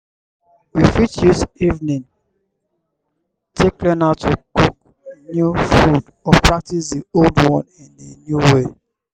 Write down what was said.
hobbies like painting writing playing music playing music na very good evening activities